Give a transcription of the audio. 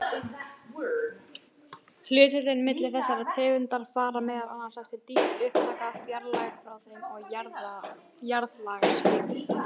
Hlutföllin milli þessara tegunda fara meðal annars eftir dýpt upptaka, fjarlægð frá þeim og jarðlagaskipan.